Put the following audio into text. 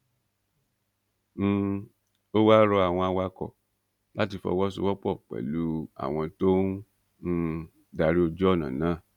um ó wáá rọ àwọn awakọ láti fọwọsowọpọ pẹlú àwọn tó ń um darí ojú ọnà náà